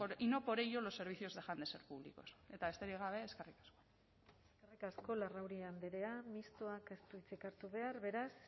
y no por ello los servicios dejan de ser públicos eta besterik gabe eskerrik asko eskerrik asko larrauri andrea mistoak ez du hitzik hartu behar beraz